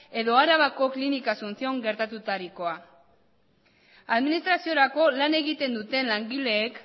edo arabako klinika asunción gertatutarikoa administraziorako lan egiten duten langileek